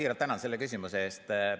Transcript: Siiralt tänan selle küsimuse eest.